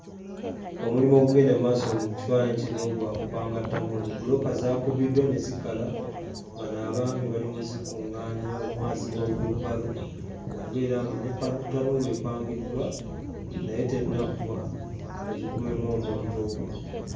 Omulimu ogugenda mu maaso mu kifaananyi kino gwa kupanga ttanuulu. Bbulooka zaakubiddwa ne zikala. Bano abaami bali mu zikuŋŋaanya, omu aziyiwa mu wiirubalo okubeera nga ne ttanuulu epangiddwa naye tennaggwa, bagikumemu omuliro.